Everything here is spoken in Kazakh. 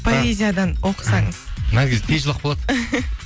поэзиядан оқысаңыз наргиз тез жылап қалады